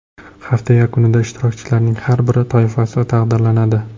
Hafta yakunida ishtirokchilarning har bir toifasi taqdirlanadi.